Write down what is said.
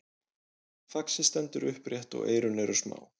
faxið stendur upprétt og eyrun eru smá